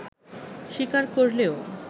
স্বীকার করলেও